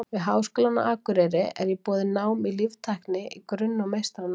Við Háskólann á Akureyri er í boði nám í líftækni í grunn- og meistaranámi.